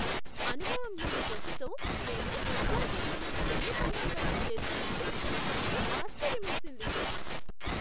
అనుభవంలేని జట్టుతో మేము football tournament semifinal వరకు చేరుకున్నప్పుడు నాకు ఆశ్చర్యమేసింది.